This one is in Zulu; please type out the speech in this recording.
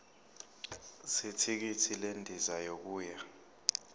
zethikithi lendiza yokuya